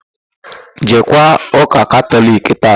Jeekwa ụ́kà Katọliki taa!